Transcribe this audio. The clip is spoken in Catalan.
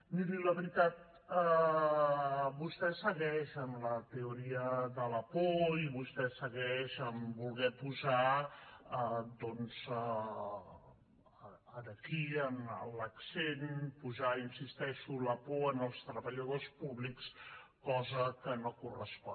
miri la veritat vostè segueix amb la teoria de la por i vostè segueix volent posar aquí l’accent posar hi insisteixo la por en els treballadors públics cosa que no correspon